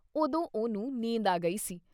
ਉਦੋਂ ਉਹਨੂੰ ਨੀਂਦ ਆ ਗਈ ਸੀ।